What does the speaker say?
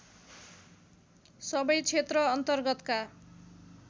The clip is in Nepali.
सबै क्षेत्र अन्तर्गतका